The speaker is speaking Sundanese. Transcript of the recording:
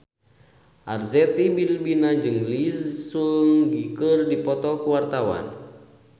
Arzetti Bilbina jeung Lee Seung Gi keur dipoto ku wartawan